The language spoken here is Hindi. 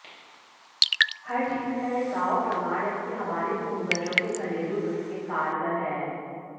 पर चीन का यह गाँव प्रमाण है कि हमारे पूर्वजों के घरेलू नुस्खे कारगर हैं